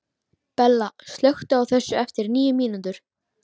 Bella, slökktu á þessu eftir níu mínútur.